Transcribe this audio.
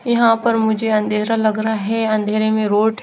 यहाँ पे मुझे अँधेरा लग रहा है अँधेरे में रोड --